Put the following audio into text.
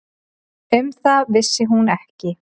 Um það vissi hún ekki.